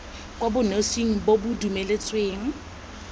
kwa bonosing bo bo dumeletsweng